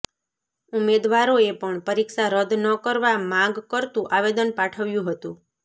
ઉમેદવારોએ પણ પરીક્ષા રદ્દ ન કરવા માગ કરતું આવેદન પાઠવ્યુ ંહતું